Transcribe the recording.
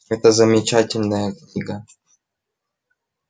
это замечательная книга